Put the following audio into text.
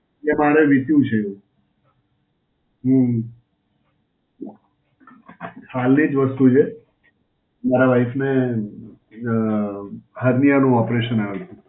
એ મારે વીત્યું છે. હમ્મ. હાલની જ વસ્તુ છે. મારા વાઈફને અ હારનીયા નું operation આયું હતું.